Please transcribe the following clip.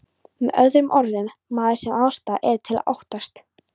Með öðrum orðum, maður sem ástæða er til að óttast.